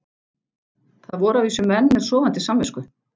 Það voru að vísu menn með sofandi samvisku.